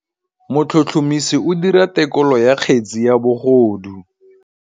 Motlhotlhomisi o dira têkolô ya kgetse ya bogodu.